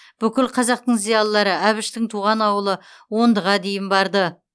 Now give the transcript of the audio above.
бүкіл қазақтың зиялылары әбіштің туған ауылы ондыға дейін барды